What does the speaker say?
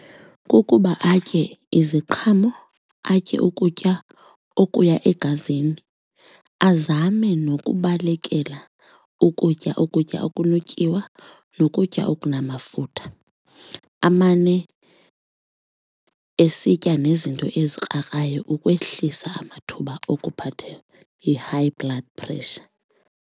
Kukuba atye iziqhamo, atye ukutya okuya egazini, azame nokubalekela ukutya ukutya okunetyiwa nokutya okunamafutha amane esitya nezinto ezikrakrayo ukwehlisa amathuba okuphatha yi-high blood pressure.